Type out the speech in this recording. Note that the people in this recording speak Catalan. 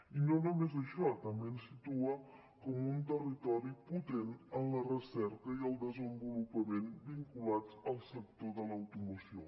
i no només això també ens situa com un territori potent en la recerca i el desenvolupament vinculats al sector de l’automoció